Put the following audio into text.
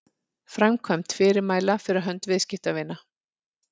framkvæmd fyrirmæla fyrir hönd viðskiptavina